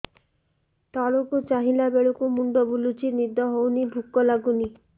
ତଳକୁ ଚାହିଁଲା ବେଳକୁ ମୁଣ୍ଡ ବୁଲୁଚି ନିଦ ହଉନି ଭୁକ ଲାଗୁନି